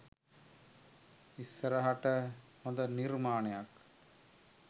ඉස්සරහට හොඳ නිර්මාණයක්